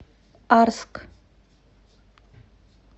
арск